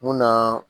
Mun na